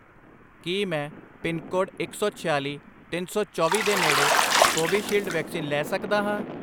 ਕੀ ਮੈਂ ਪਿਨਕੋਡ ਇੱਕ ਸੌ ਛਿਆਲੀ, ਤਿੰਨ ਸੌ ਚੌਵੀ ਦੇ ਨੇੜੇ ਕੋਵੀਸ਼ੀਲਡ ਵੈਕਸੀਨ ਲੈ ਸਕਦਾ ਹਾਂ?